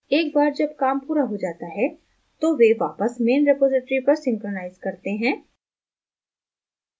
एक बार जब काम पूरा हो जाता है तो वे वापस main रिपॉज़िटरी पर synchronize करते हैं